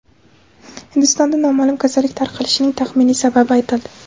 Hindistonda noma’lum kasallik tarqalishining taxminiy sababi aytildi.